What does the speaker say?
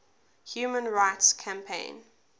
human rights campaign